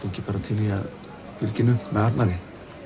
ekki bara til í að fylgja henni upp með Arnari